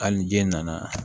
Hali ni je nana